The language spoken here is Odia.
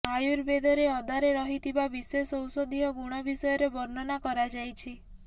ଆୟୁର୍ବେଦରେ ଅଦାରେ ରହିଥିବା ବିଶେଷ ଔଷଧୀୟ ଗୁଣ ବିଷୟରେ ବର୍ଣ୍ଣନା କରାଯାଇଛି